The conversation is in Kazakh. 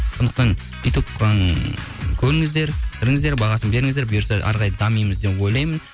сондықтан ютуб ыыы көріңіздер кіріңіздер бағасын беріңіздер бұйырса әрі қарай дамимыз деп ойлаймын